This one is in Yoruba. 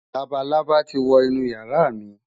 Labalábá ti wo inú ìyàrá mi.